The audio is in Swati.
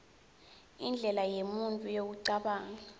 indlela yemuntfu yekucabanga